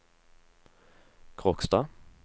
Kråkstad